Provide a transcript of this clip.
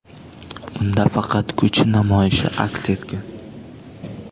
Unda faqat kuch namoyishi aks etgan.